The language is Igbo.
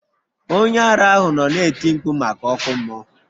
Onye ara ahụ nọ na-eti mkpu maka ọkụ mmụọ.